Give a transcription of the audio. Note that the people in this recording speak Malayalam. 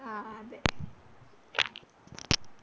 ആ അതെ